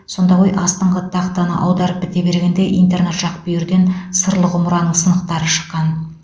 сонда ғой астыңғы тақтаны аударып біте бергенде интернат жақ бүйірден сырлы құмыраның сынықтары шыққан